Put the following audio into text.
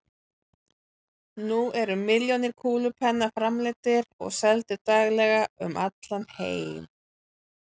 Nú eru milljónir kúlupenna framleiddir og seldir daglega um allan heim.